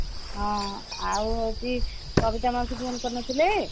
ହଁ ଆଉ ହଉଛି କବିତା ମାଉସୀ phone କରିନଥିଲେ